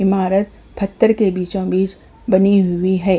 इमारत फत्तर के बीचों-बीच बनी हुई है।